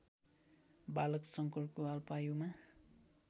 बालक शङ्करको अल्पायुमा